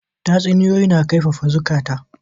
Tatsuniyoyi na kaifafa zukata.